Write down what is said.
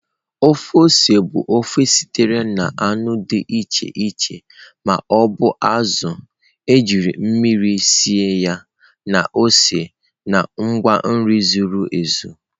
Ofe ose bụ ofe sitere na anụ dị iche iche ma ọ bụ azụ̀ ejiri mmiri sie ya na ose na ngwa nri zuru ezu.